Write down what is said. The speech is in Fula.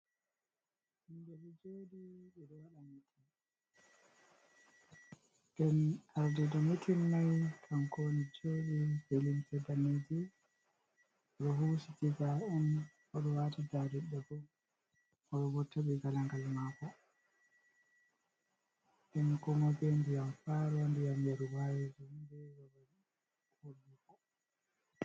Himbe ɗo joɗi ngam arde do metin mai, tankoni joɗi felince banneje do husi tiza on hodo wata dadidda bo oo bo tabi galangal mako en koma be nbiyam fa ronbiyam yaru wayeju be robar hoduko.